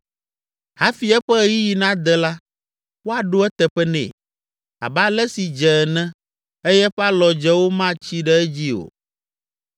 Hafi eƒe ɣeyiɣi nade la, woaɖo eteƒe nɛ abe ale si dze ene eye eƒe alɔdzewo matsi ɖe edzi o.